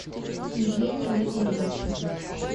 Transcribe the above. евгения григорьевича